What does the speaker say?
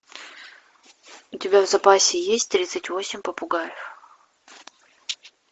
у тебя в запасе есть тридцать восемь попугаев